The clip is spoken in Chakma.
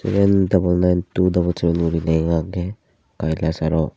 seven double nine two double seven lega age kailashar ot.